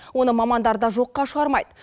оны мамандар да жоққа шығармайды